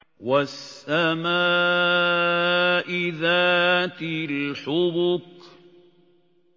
وَالسَّمَاءِ ذَاتِ الْحُبُكِ